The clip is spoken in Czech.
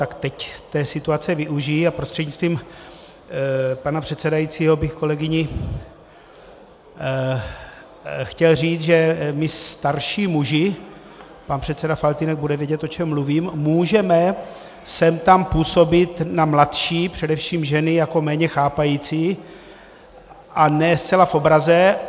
Tak teď té situace využiji a prostřednictvím pana předsedajícího bych kolegyni chtěl říct, že my starší muži - pan předseda Faltýnek bude vědět, o čem mluvím - můžeme sem tam působit na mladší, především ženy, jako méně chápající a ne zcela v obraze.